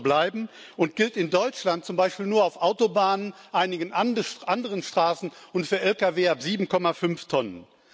Das soll auch so bleiben und gilt in Deutschland zum Beispiel nur auf Autobahnen, einigen anderen Straßen und für Lkw ab 7,5 Tonnen.